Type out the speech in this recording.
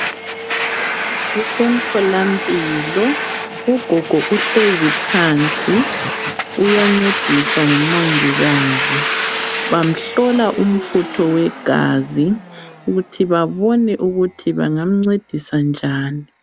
Kusemtholampilo ugogo uhlezi phansi uyancediswa ngumongikazi bamhlola umfutho wegazi ukuthi babone ukuthi bangamncedisa njani